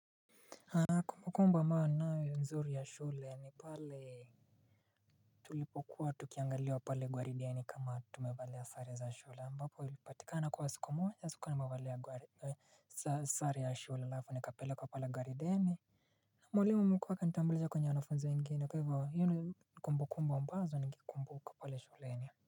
Kumbukumbu ambayo ninayo nzuri ya shule ni pale tulipo kuwa tukiangaliwa pale gwarideni kama tumevalia sare za shule ambapo ilipatikana kwa siku moja sikua nimevalia sare ya shule alafu nikapelekwa pale gwarideni. Mwalimu mkuu akanitambulisha kwenye wanafunzi wengine hata hivyo hizo ni kumbukumbu ambazo nikikumbuka pale shuleni.